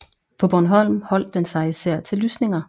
På Bornholm holdt den sig især til lysninger